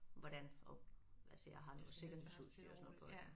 Hvordan og altså jeg har noget sikkerhedsudstyr og sådan noget på